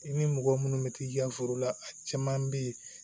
I ni mɔgɔ minnu bɛ t'i ka foro la a caman bɛ yen